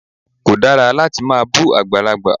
Kò dára láti máa bú àgbàlagbà.